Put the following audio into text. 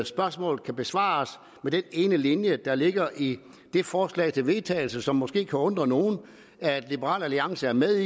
spørgsmålet kan besvares med den ene linje der ligger i det forslag til vedtagelse som det måske kan undre nogle at liberal alliance er med